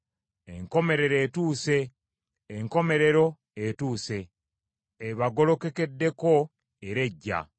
Enkomerero etuuse, enkomerero etuuse! Ebagolokokeddeko era ejja.